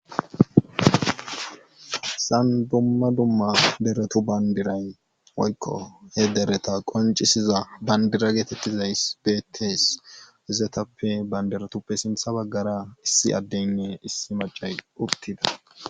Hessan dumma dumma deretu banddiray woykko he dereta qonccisiza banddira geeteettizyssi beettees izatuppe banddiratuppe simtha baggara issi addeynne issi maccay uttida.